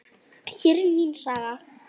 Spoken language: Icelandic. Hér er mín saga.